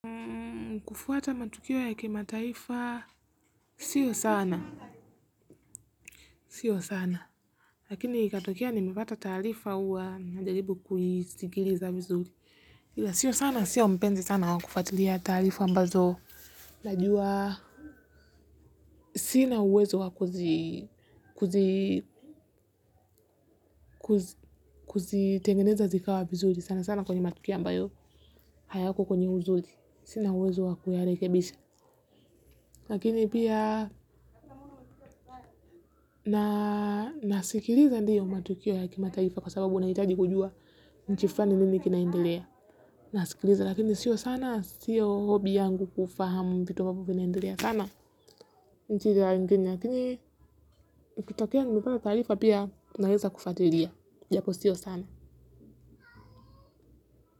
Mkufuata matukiwo ya kimataifa sio sana, sio sana. Lakini katokea nimepata tarifa uwa najalibu kujisigiriza vizuri. Sio sana, sio mpenzi sana wakufatulia tarifa ambazo najua. Sina uwezo wakuzi, kuzi, kuzi, kuzi, kuzi tengeneza zikawa vizuri. Sana sana kwenye matukiwa ambayo, hayako kwenye uzuri. Sina uwezo wakuyarekebisha. Lakini piya nasikiliza ndiyo matukio ya kimataifa kwa sababu unayitaji kujua nchi flani nini kinaendelea nasikiliza lakini sio sana, sio hobby yangu kufahamu vitu ambavyo vinaendelea sana nchini lakini ikitokea nimepata taarifa naweza fuatilia japo sio sana.